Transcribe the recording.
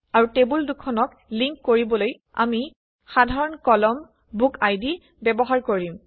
আৰু টেবুল দুখনক লিংক কৰিবলৈ আমি উমৈহতীয়া কলম বুকআইডি ব্যৱহাৰ কৰিম